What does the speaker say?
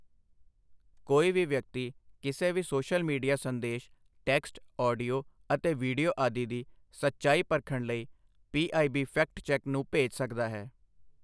ਕੋਈ ਵੀ ਵਿਅਕਤੀ ਕਿਸੇ ਵੀ ਸੋਸ਼ਲ ਮੀਡੀਆ ਸੰਦੇਸ਼ ਟੈਕਸਟ, ਆਡੀਓ ਅਤੇ ਵੀਡੀਓ ਆਦਿ ਦੀ ਸਚਾਈ ਪਰਖਣ ਲਈ ਪੀਆਈਬੀਫੈਕਟਚੈੱਕ ਨੂੰ ਭੇਜ ਸਕਦਾ ਹੈ।